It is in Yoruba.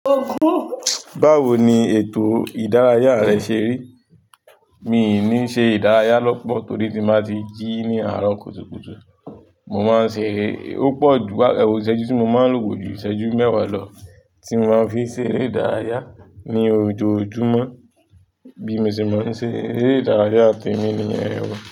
Báwo ni ètò ìdárayá rẹ ṣe rí? Mi ò ní ṣe ìdárayá lọ́pọ̀ torí tí n ba ti jí ní àárọ̀ kùtùkùtù. Mo máa ń ṣe ó pọ̀ ju, wá, ẹwo ìṣẹ́jú tí mo máa ń lòwó ko ju ìṣẹ́jú mẹ́wàá lọ tí mo máa ń fi ṣe eré ìdárayá ní ojojúmọ́ bí mo ṣe máa ń ṣe eré ìdárayá temí níyen o.